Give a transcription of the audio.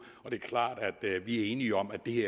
og det er klart at vi er enige om at det